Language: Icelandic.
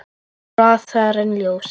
Hraðar en ljósið.